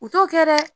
U t'o kɛ dɛ